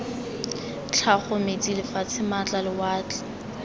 tlhago metsi lefatshe maatla lewatle